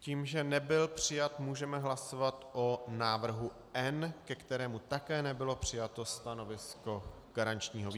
Tím, že nebyl přijat, můžeme hlasovat o návrhu N, ke kterému také nebylo přijato stanovisko garančního výboru.